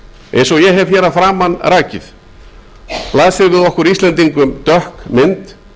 eins og ég hef að framan rakið blasir við okkur íslendingum dökk mynd